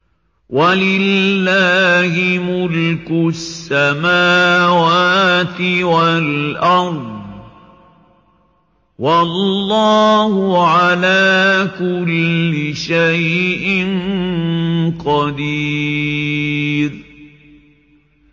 وَلِلَّهِ مُلْكُ السَّمَاوَاتِ وَالْأَرْضِ ۗ وَاللَّهُ عَلَىٰ كُلِّ شَيْءٍ قَدِيرٌ